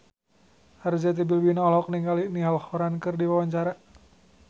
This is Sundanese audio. Arzetti Bilbina olohok ningali Niall Horran keur diwawancara